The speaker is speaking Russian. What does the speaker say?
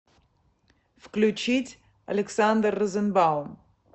включить александр розенбаум